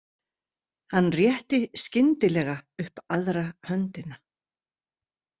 Hann rétti skyndilega upp aðra höndina.